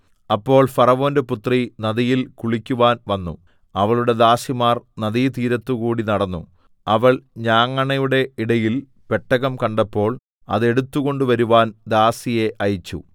അപ്പോൾ ഫറവോന്റെ പുത്രി നദിയിൽ കുളിക്കുവാൻ വന്നു അവളുടെ ദാസിമാർ നദീതീരത്തുകൂടി നടന്നു അവൾ ഞാങ്ങണയുടെ ഇടയിൽ പെട്ടകം കണ്ടപ്പോൾ അത് എടുത്തുകൊണ്ടുവരുവാൻ ദാസിയെ അയച്ചു